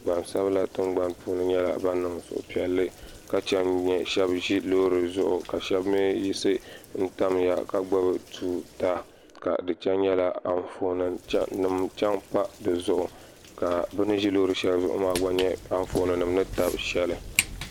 gbanisabila tiŋ gbani puuni nyɛla zibipiɛlli ka chɛni shɛbi ʒɛ lori zuɣ' ka shɛbi mi yiɣisi tamiya to daa ka chɛni nyɛla anƒɔni chɛ pa si zuɣ ka bɛni ʒɛ lori shɛli zuɣ maa nyɛ anƒɔni ni tabi shɛli